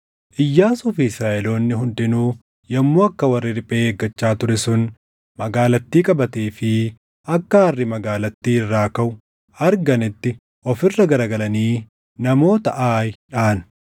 Iyyaasuu fi Israaʼeloonni hundinuu yommuu akka warri riphee eeggachaa ture sun magaalattii qabatee fi akka aarri magaalattii irraa kaʼu arganitti of irra garagalanii namoota Aayi dhaʼan.